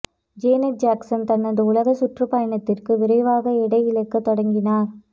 Janet Jackson தனது உலக சுற்றுப்பயணத்திற்கு விரைவாக எடை இழக்கத் தொடங்கினார்